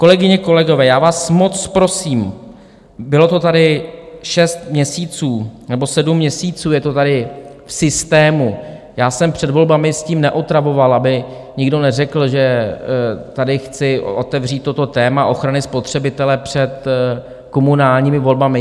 Kolegyně, kolegové, já vás moc prosím, bylo to tady šest měsíců, nebo sedm měsíců je to tady v systému, já jsem před volbami s tím neotravoval, aby nikdo neřekl, že tady chci otevřít toto téma ochrany spotřebitele před komunálními volbami.